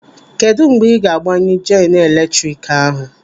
Kedụ mgbe ị ga-agbanyụ jeenu eletrik ahụ?